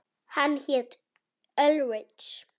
Hann hét Ulrich.